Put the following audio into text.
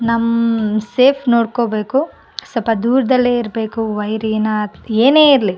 ನಮ್ ಸೇಫ್ ನೋಡ್ಕೋಬೇಕು ಸ್ವಲ್ಪ ದೂರದಲ್ಲೇ ಇರ್ಬೇಕು ವೈರಿ ನ ಏನ್ ಇರ್ಲಿ --